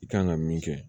I kan ka min kɛ